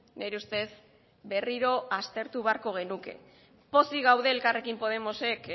nire ustez berriro aztertu beharko genuke pozik gaude elkarrekin podemosek